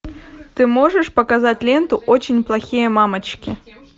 ты можешь показать ленту очень плохие мамочки